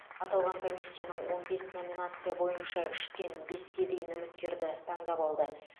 аталған комиссияның он бес номинация бойынша үштен беске дейін үміткерді таңдап алды